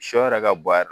Sɔ yɛrɛ ka bɔ a yɛrɛ